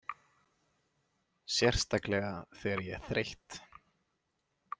Sérstaklega þegar ég er þreytt.